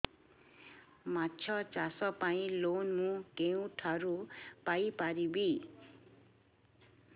ମାଛ ଚାଷ ପାଇଁ ଲୋନ୍ ମୁଁ କେଉଁଠାରୁ ପାଇପାରିବି